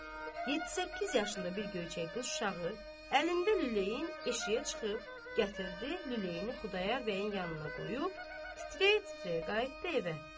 Yeddi-səkkiz yaşında bir göyçək qız uşağı əlində lüləyin eşiyə çıxıb gətirdi, lüləyini Xudayar bəyin yanına qoyub titrəyə-titrəyə qayıtdı evə.